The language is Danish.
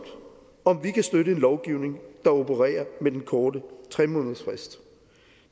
om vi kan støtte en lovgivning der opererer med den korte tre månedersfrist